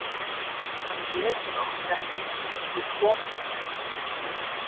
Hann étur okkur ekki þótt við komum.